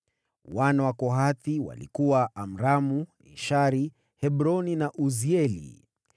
Wana wa Kohathi walikuwa: Amramu, Ishari, Hebroni na Uzieli.